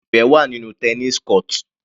Sé Ifẹ wà nínú tennis court?